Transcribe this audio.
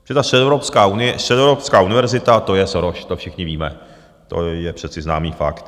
Protože ta Středoevropská univerzita, to je Soros, to všichni víme, to je přece známý fakt.